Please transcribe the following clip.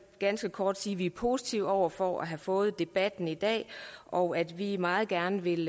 ganske kort sige at vi er positive over for at have fået debatten i dag og at vi meget gerne vil